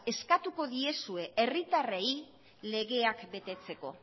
eskatuko diezue herritarrei legeak betetzeko